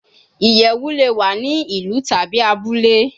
Iyẹwu le wa ni ilu tabi abule